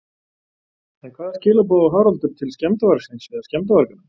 En hvaða skilaboð á Haraldur til skemmdarvargsins eða skemmdarvarganna?